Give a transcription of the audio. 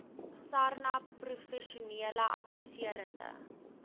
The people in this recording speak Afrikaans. sarnap professionele adviserende